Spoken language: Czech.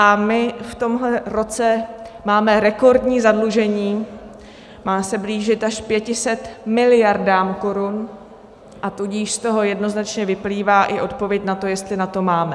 A my v tomhle roce máme rekordní zadlužení, má se blížit až 500 miliardám korun, a tudíž z toho jednoznačně vyplývá i odpověď na to, jestli na to máme.